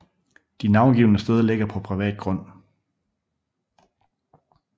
De navngivne steder ligger på privat grund